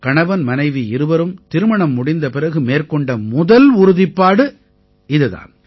கணவன் மனைவி இருவரும் திருமணம் முடிந்த பிறகு மேற்கொண்ட முதல் உறுதிப்பாடு இதுதான்